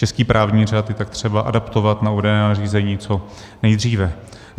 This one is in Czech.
Český právní řád je tak třeba adaptovat na uvedené nařízení co nejdříve.